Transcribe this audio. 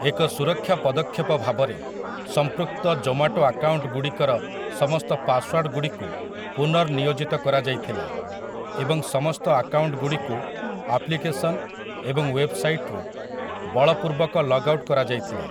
ଏକ ସୁରକ୍ଷା ପଦକ୍ଷେପ ଭାବରେ, ସମ୍ପୃକ୍ତ ଜୋମାଟୋ ଆକାଉଣ୍ଟଗୁଡ଼ିକର ସମସ୍ତ ପାସୱାର୍ଡ଼୍‌ଗୁଡ଼ିକୁ ପୁନର୍ନିୟୋଜିତ କରାଯାଇଥିଲା, ଏବଂ ସମସ୍ତ ଆକାଉଣ୍ଟଗୁଡ଼ିକୁ ଆପ୍ଲିକେସନ୍‌ ଏବଂ ୱେବ୍‍ସାଇଟ୍ ରୁ ବଳପୂର୍ବକ ଲଗ୍ ଆଉଟ୍ କରାଯାଇଥିଲା ।